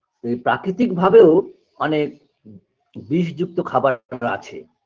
যে প্রাকৃতিক ভাবেও অনেক বিষযুক্ত খাবার আছে